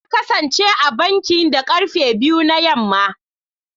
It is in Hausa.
Na kasance a banki da karfe biyu na yamma.